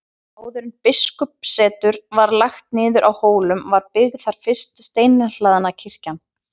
Áður en biskupssetur var lagt niður á Hólum var byggð þar fyrsta steinhlaðna kirkjan.